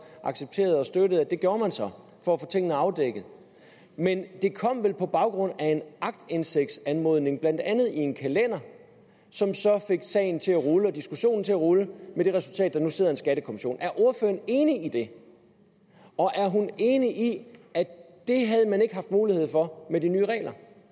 accepterede og støttede at det gjorde man så for at få tingene afdækket men det kom vel på baggrund af en aktindsigtsanmodning blandt andet i en kalender som så fik sagen til at rulle og diskussionen til at rulle med det resultat at der nu sidder en skattekommission er ordføreren enig i det og er hun enig i at det havde man ikke haft mulighed for med de nye regler